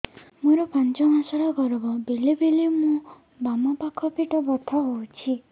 ମୋର ପାଞ୍ଚ ମାସ ର ଗର୍ଭ ବେଳେ ବେଳେ ମୋ ବାମ ପାଖ ପେଟ ବଥା ହଉଛି